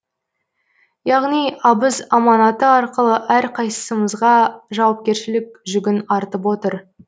яғни абыз аманаты арқылы әрқайсымызға жауапкершілік жүгін артып отыр